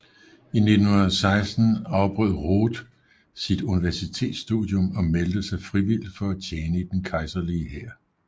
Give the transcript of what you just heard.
I 1916 afbrød Roth sit universitetsstudium og meldte sig frivilligt for at tjene i den kejserlige hær i 1